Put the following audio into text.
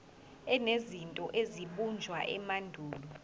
enezinto ezabunjwa emandulo